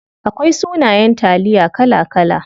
Akwai sunayen taliya kala kala.